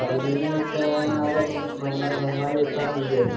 കടൽ മീൻ ഇപ്പൊ അവിടെ നന്നായി കിട്ടാറില്ലേ